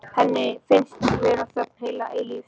Henni finnst vera þögn heila eilífð.